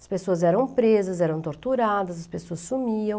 As pessoas eram presas, eram torturadas, as pessoas sumiam.